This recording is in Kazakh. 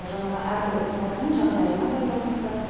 жаңағы әрбір отбасының жағдайына байланысты